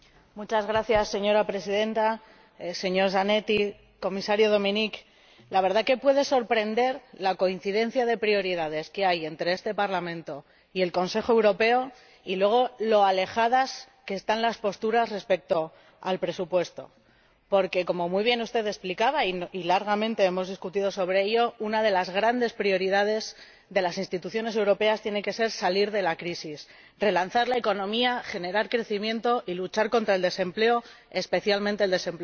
Señora Presidenta, señor Zanetti, señor Comisario Dominik, la verdad es que puede sorprender la coincidencia de prioridades que hay entre este Parlamento y el Consejo Europeo y, luego, lo alejadas que están las posturas respecto al presupuesto porque, como muy bien usted explicaba —y largamente hemos discutido sobre ello—, una de las grandes prioridades de las instituciones europeas tiene que ser salir de la crisis, relanzar la economía, generar crecimiento y luchar contra el desempleo, especialmente el desempleo juvenil.